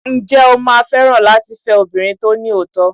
Ǹjẹ́ o máa fẹ́ràn láti fẹ́ obìnrin tó ní òótọ́?